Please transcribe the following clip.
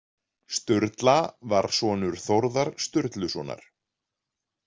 Sturla var sonur Þórðar Sturlusonar.